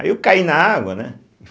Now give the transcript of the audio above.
Aí eu caí na água, né? e